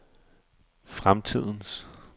fremtidens